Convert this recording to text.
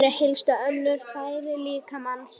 Þau eru helstu öndunarfæri líkamans.